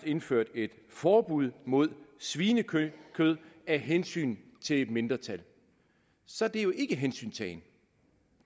indført et forbud mod svinekød af hensyn til et mindretal så er det ikke hensyntagen